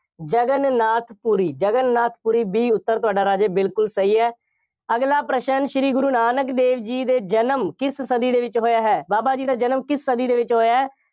Jagannath Puri, Jagannath Puri B ਉੱਤਰ ਤੁਹਾਡਾ ਰਾਜੇ ਬਿਲਕੁੱਲ ਸਹੀ ਹੈ। ਅਗਲਾ ਪ੍ਰਸ਼ਨ ਸ਼੍ਰੀ ਗੁਰੂ ਨਾਨਕ ਦੇਵ ਜੀ ਦੇ ਜਨਮ ਕਿਸ ਸਦੀ ਦੇ ਵਿੱਚ ਹੋਇਆ ਹੈ। ਬਾਬਾ ਜੀ ਦਾ ਜਨਮ ਕਿਸ ਸਦੀ ਦੇ ਵਿੱਚ ਹੋਇਆ ਹੈ।